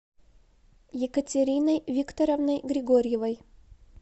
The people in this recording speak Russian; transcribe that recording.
екатериной викторовной григорьевой